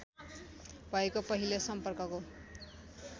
भएको पहिलो सम्पर्कको